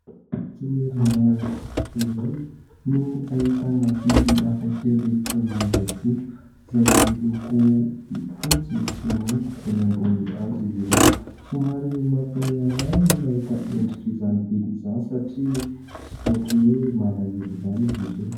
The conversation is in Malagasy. Toerana iray no ahitana biby hafakely toy ny ragidro izay miloko fotsy sy mainty ; eny ambonin'ny hazo izy ireo. Somary mampihomehy ahy ny mahita ny endrik'izany biby izany satria ohatran'ny hoe malahelo izany izy ireo.